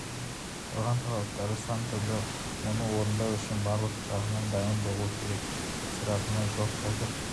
қойған талаптары сан түрлі оны орындау үшін барлық жағынан дайын болу керек жасыратыны жоқ қазір